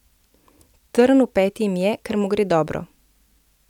Trn v peti jim je, ker mu gre dobro.